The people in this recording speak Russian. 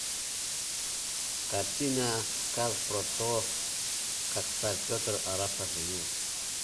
картина сказ про то как царь петр арапа женил